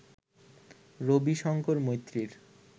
Rabi Shankar মৈত্রীর